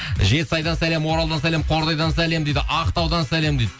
жетісайдан сәлем оралдан сәлем қордайдан сәлем дейді ақтаудан сәлем дейді